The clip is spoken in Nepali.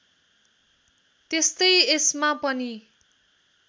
त्यस्तै यसमा पनि